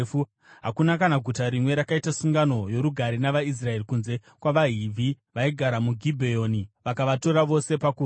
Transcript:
Hakuna guta kana rimwe rakaita sungano yorugare navaIsraeri kunze kwavaHivhi vaigara muGibheoni, vavakatora vose pakurwa.